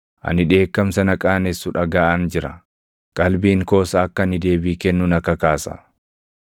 Ani dheekkamsa na qaanessu dhagaʼaan jira; qalbiin koos akka ani deebii kennu na kakaasa.